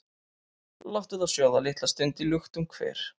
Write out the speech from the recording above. Láttu þá sjóða litla stund í luktum hver,